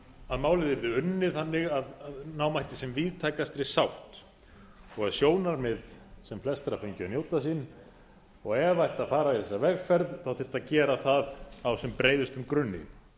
að málið yrði unnið þannig að ná mætti sem víðtækastri sátt og að sjónarmið sem flestra fengju að njóta sín og ef það ætti að fara í þessa vegferð þyrfti að gera það á sem breiðustum grunni